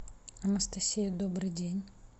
анастасия добрый день